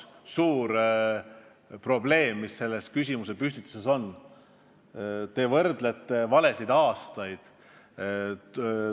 Selles küsimuse püstituses on üks suur probleem: te võrdlete valesid aastaid.